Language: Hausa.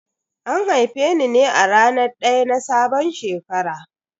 An haife ni ne a ranar daya na sabon shekara.